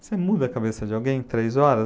Você muda a cabeça de alguém em três horas?